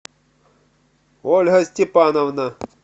ольга степановна